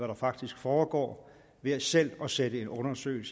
der faktisk foregår ved selv at sætte en undersøgelse